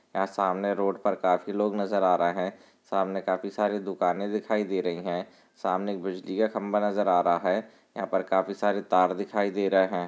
यहाँ सामने रोड पर काफी लोग नजर आ रहे हैं सामने काफी सारी दुकाने दिखाई दे रही हैं सामने बिजली का खम्बा नजर आ रहा हैं यहाँ पर काफी सारे तार दिखाई दे रहे हैं।